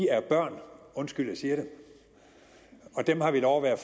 er børn undskyld jeg siger det og dem har vi lov at være